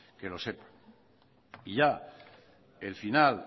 que lo sepa y el final